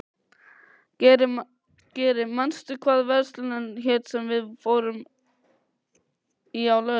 Geri, manstu hvað verslunin hét sem við fórum í á laugardaginn?